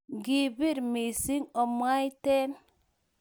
Ngibiir missing amwaiten